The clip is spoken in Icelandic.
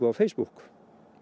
á Facebook